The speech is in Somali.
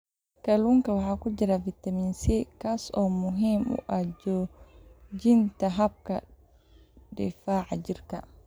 Kalluunka waxaa ku jira fitamiin C, kaas oo muhiim u ah xoojinta habka difaaca jirka.